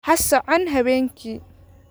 Ha socon habeenkii.